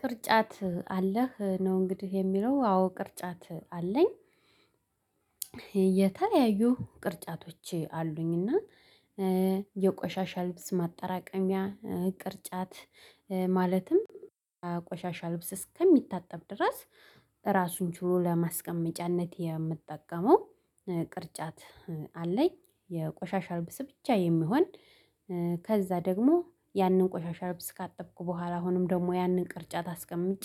ቅርጫት አለህ ነው እንግዲህ የሚለው አዎ ቅርጫት አለኝ። የተለያዩ ቅርጫቶች አሉኝና የቆሻሻ ልብስ ማጠራቀሚያ ቅርጫት ማለትም ቆሻሻ ልብስ እስከሚታጠብ ድረስ ራሱን ችሎ ለማስቀመጫነት የምጠቀመው ቅርጫት አለኝ። የቆሻሻ አልብስ ብቻ የሚሆን ከዛ ደግሞ ያንን ቆሻሻ ልብስ ካጠብኩ በኋላ አሁንም ደግሞ ያንን ቅርጫት አስቀምጬ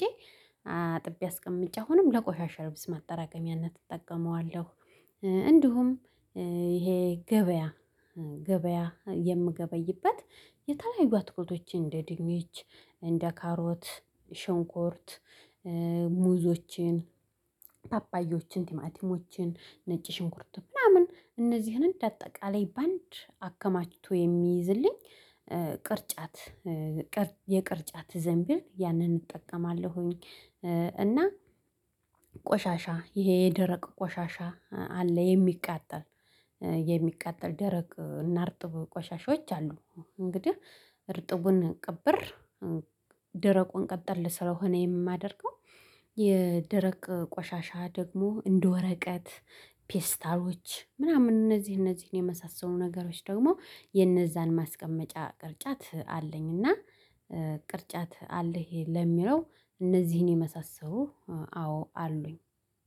አጥቤ አስቀምጬ አሁንም ለቆሻሻ ልብስ ማጠራቀሚያነት እጠቀመዋለሁ። እንዲሁም ይሄ ገበያ ገበያ የምገበይበት የተለያዩ አትክልቶችን እንደ ድንች እንደ ካሮት ሽንኩርት ሙዞችን ፓፓያዎችን ቲማቲሞችን ነጭ ሽንኩርት ምናምን እነዚህን እንደ አጠቃላይ ባንድ አከማችቶ የሚይዝልኝ ቅርጫት የቅርጫት ዘንቢል ያንን እጠቀማለሁኝ። እና ቆሻሻ ይሄ የደረቅ ቆሻሻ አለ የሚቃጠል የሚቃጠል ደረቅ እና እርጥብ ቆሻሻዎች አሉ። እንግዲህ እርጥቡን ቅብር ደረቁን ቀጠል ልስረው ሆነ የማደርገው የደረቅ ቆሻሻ ደግሞ እንደ ወረቀት ፌስታሎች ምናምን እነዚህ እነዚህን የመሳሰሉ ነገሮች ደግሞ የነዛን ማስቀመጫ ቅርጫት አለኝ። እና ቅርጫት አለኝ ለሚለው እነዚህን የመሳሰሉ አዎ አሉኝ።